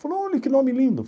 Falei, olha que nome lindo.